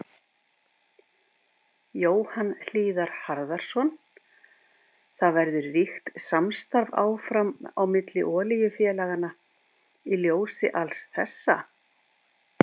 Jóhann Hlíðar Harðarson: Það verður ríkt samstarf áfram á milli olíufélaganna í ljósi alls þessa?